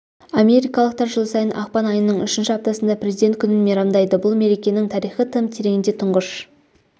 америкалықтар жыл сайын ақпан айының үшінші аптасында президент күнін мейрамдайды бұл мерекенің тарихы тым тереңде тұңғыш